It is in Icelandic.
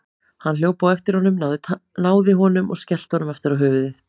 Hann hljóp á eftir honum, náði honum og skellti honum aftur á höfuðið.